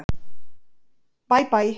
Bæ Bæ.